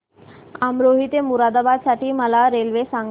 अमरोहा ते मुरादाबाद साठी मला रेल्वे सांगा